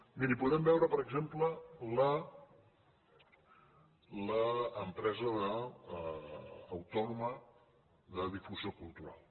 miri podem veure per exemple l’entitat autònoma de difusió cultural